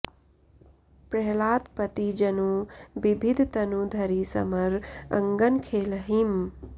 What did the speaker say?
प्रहलादपति जनु बिबिध तनु धरि समर अंगन खेलहीं